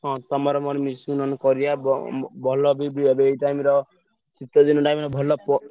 ହଁ ତମର ମୋର ମିଶିକି ନହେଲେ କରିଆ ବ ଭଲ ବି ଏଇ time ର ଶୀତ ଦିନ time ରେ ଭଲ ପ।